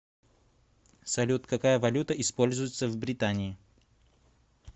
салют какая валюта используется в британии